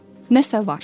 Nəsə var.